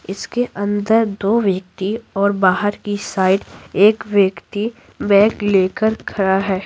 इसके अंदर दो व्यक्ति और बाहर की साइड एक व्यक्ति बैग लेकर खड़ा है।